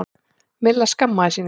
Milla skammaðist sín ekki.